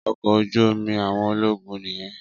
Ọkọ̀ ojú omi àwọn ológun nìyẹn